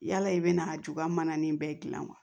Yala i bɛ na a juba mana nin bɛɛ dilan wa